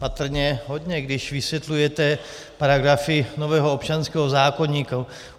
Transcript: Patrně hodně, když vysvětlujete paragrafy nového občanského zákoníku.